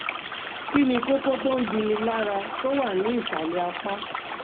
Kí ni kókó tó ń dunni lára tó wà ní ìsàlẹ̀ apá?